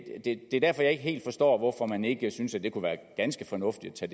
er derfor at jeg ikke helt forstår hvorfor man ikke synes at det kunne være ganske fornuftigt at